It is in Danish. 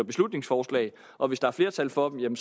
beslutningsforslag og hvis der er flertal for dem